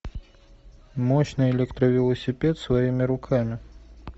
мощный электровелосипед своими руками